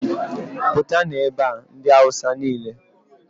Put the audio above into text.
pụtanụ ebe a! ndị awụsa niile